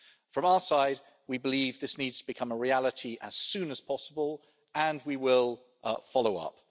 From our side, we believe that this needs to become a reality as soon as possible, and we will follow up.